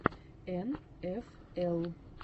эн эф эл